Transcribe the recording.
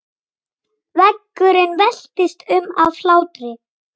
Veggurinn veltist um af hlátri.